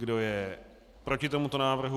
Kdo je proti tomuto návrhu?